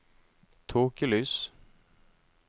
tåkelys